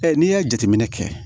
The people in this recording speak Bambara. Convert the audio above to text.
n'i ye jateminɛ kɛ